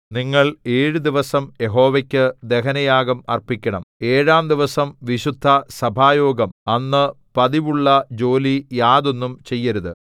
നിങ്ങൾ ഏഴു ദിവസം യഹോവയ്ക്കു ദഹനയാഗം അർപ്പിക്കണം ഏഴാം ദിവസം വിശുദ്ധസഭായോഗം അന്ന് പതിവുള്ളജോലി യാതൊന്നും ചെയ്യരുത്